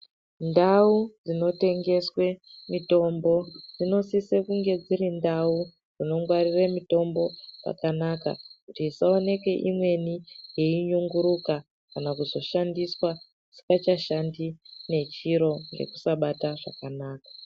Ndau dzinotengeswe mitombo dzinosise kunge dziri ndau dzinongwarire mitombo zvakanaka kuti pasaoneke imweni yeinyunguruka kana kuzoshandiswa isikachashandi nechiro ngekusabata zvakanaka.